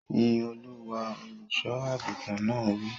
Yín Olúwa! Olùsọ àgùntàn náà wí.